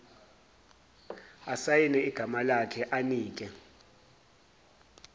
asayine igamalakhe anike